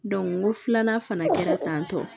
n ko filanan fana kɛra tantɔ